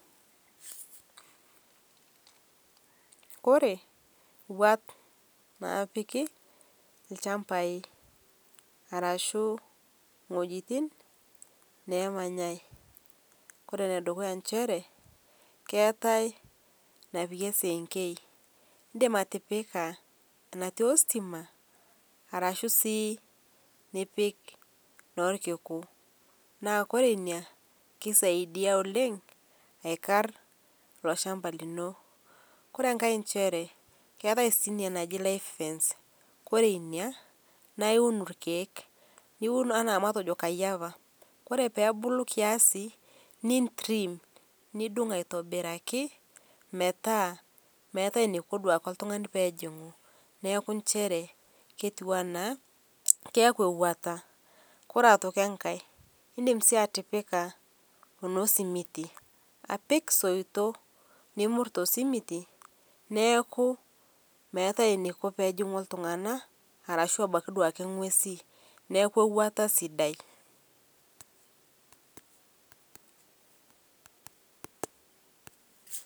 oree wuat napiki ilchambai arashuu iwejitin neemanyai oree enedukuya enjere keetai enapiki esikenkei indim atipika atii ostimaa koree inaa keisaidia oleng aikar ilo shamba lino. Koree enkai enjere ketai enaji Live fence koree inia naa iun ilkiek niun anaa olkayiapa oree pebulu kiasi nitrim niung' aitobiraki pemeetai enaiko pejing'u iltung'anak neaku njere ketuu anaa ewuata .Koree aitoki enkai indim sii atipika enesimiti apik isoito nimur tosimiti neaku metii eneiko pejing'u iltung'anak woo ng'uesi neaku ewuata sidai